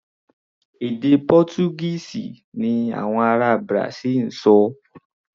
Èdè Pọ́túgíìsì ni àwọn ará Brasil ń sọ.